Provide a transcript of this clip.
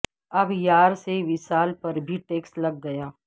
اب یار سے وصال پر بھی ٹیکس لگ گیا